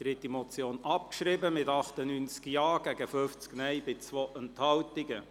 Sie haben der Abschreibung zugestimmt, mit 98 Ja- zu 50 Nein-Stimmen bei 2 Enthaltungen.